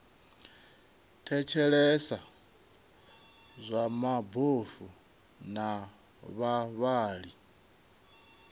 thetshelesa zwa mabofu na vhavhali